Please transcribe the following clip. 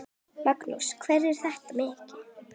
Magnús: Hvað er þetta mikið?